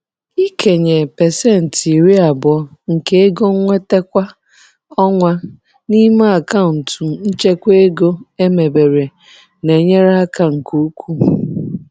Ịkenye 20% nke ego nnweta kwa ọnwa n'ime akaụntụ nchekwa ego emebere na-enyere aka nke ukwuu.